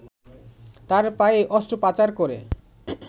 তার পায়ে অস্ত্রোপচার করে